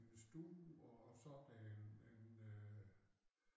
En stue og så en en øh